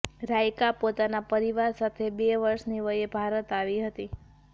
રાયકા પોતાના પરિવાર સાથે બે વર્ષની વયે ભારત આવી હતી